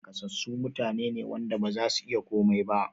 Naƙasassu mutane ne wanda bazasu iya komai ba